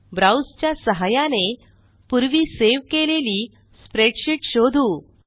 browse च्या सहाय्याने पूर्वी सेव्ह केलेली स्प्रेडशीट शोधू